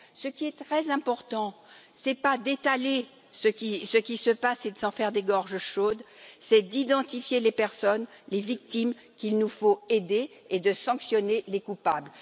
Ce qui est très important, ce n'est pas d'étaler ce qui se passe et d'en faire des gorges chaudes, mais bien d'identifier les personnes, les victimes qu'il nous faut aider, et de sanctionner les coupables.